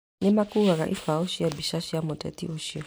Nĩmakuaga ibaũ cia mbica cia mũteti ũcio